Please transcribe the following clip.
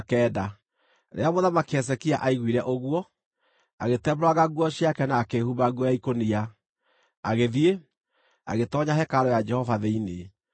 Rĩrĩa Mũthamaki Hezekia aiguire ũguo, agĩtembũranga nguo ciake na akĩĩhumba nguo ya ikũnia, agĩthiĩ, agĩtoonya hekarũ ya Jehova thĩinĩ.